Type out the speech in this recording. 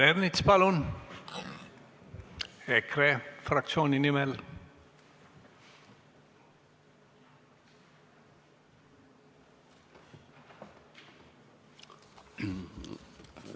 Peeter Ernits, palun, EKRE fraktsiooni nimel!